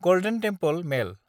गल्देन temple मेल